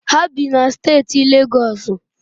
Ha bi na steeti Legọsụ.